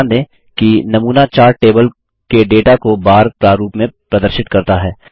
ध्यान दें कि नमूना चार्ट टेबल के डेटा को बार प्रारूप में प्रदर्शित करता है